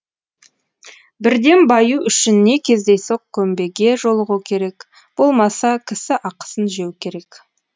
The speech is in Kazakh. бірден баю үшін не кездейсоқ көмбеге жолығу керек болмаса кісі ақысын жеу керек